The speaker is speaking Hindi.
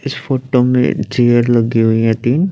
इस फोटो में चेयर लगी हुई है तीन--